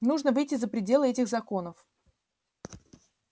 нужно выйти за пределы этих законов